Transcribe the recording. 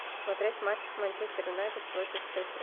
смотреть матч манчестер юнайтед против шеффилда